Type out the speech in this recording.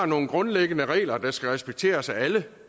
nogle grundlæggende regler der skal respekteres af alle